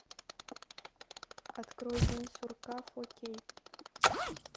открой день сурка фор кей